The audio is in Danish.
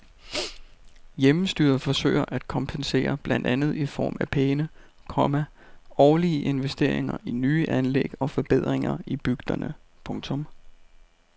Hjemmestyret forsøger at kompensere blandt andet i form af pæne, komma årlige investeringer i nye anlæg og forbedringer i bygderne. punktum